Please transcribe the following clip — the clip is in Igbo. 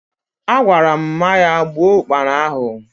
Agwaram Mma ya gbuo Ụkpana ahụ